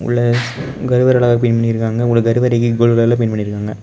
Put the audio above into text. உள்ள கருவற அழகா பெயிண்ட் பண்ணி இருக்காங்க ஒரு கருவறைக்கு கோல்ட் கலர்ல பெயிண்ட் பண்ணிருக்காங்க.